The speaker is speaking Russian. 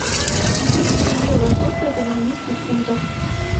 две тысячи евро сколько это в английских фунтах